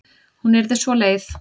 Hún yrði svo leið.